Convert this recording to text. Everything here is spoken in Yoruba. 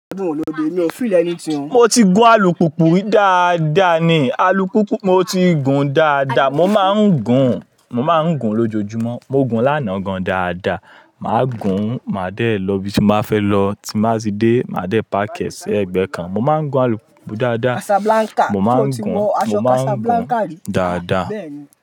Mo ti gun alùpùpù dáadáa ni, alùpùpù mo ti gun dáadáa, mo máa ń gun, mo máa ń gun lójojúmọ́, mo gun lánàá gan dáadáa. Màá gun, màá dẹ lọ ibi tí m ba fẹ́ lọ tí má sì dé, màá dé páaki ẹ́ sí ẹgbẹ́ kan. Mo máa ń gun alùpùpù dáadáa, mo máa ń gun, mo máa ń gun dáadáa.